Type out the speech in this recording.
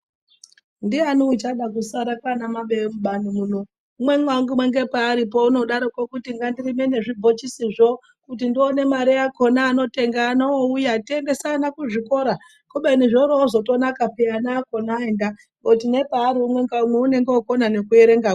Ndiani uchada kusara kwana mabeyo mubani muno umweni ngepaaripo unodaroko kuti ngandirime nezvibhochisizvo kuti ndione mari yakona. Anotengaano ouya toendesa ana kuzvikoro kubeni zvoriwo zvotonaka peya ana akona aenda ngepari umwe na umwe unonge wokone neku erengakwo.